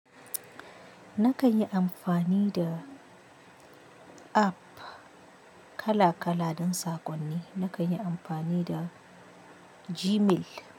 Na kan yi amfani da app kala kala don saƙonni. Na kan yi amfani da Gmail.